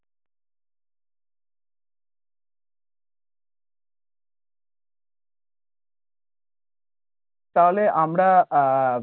তাহলে আমরা আহ